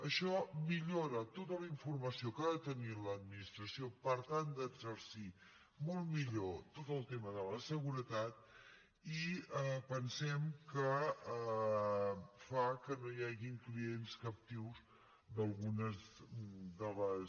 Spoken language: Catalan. això millora tota la informació que ha de tenir l’administració per tal d’exercir molt millor tot el tema de la seguretat i pensem que fa que no hi hagin clients captius d’algunes de les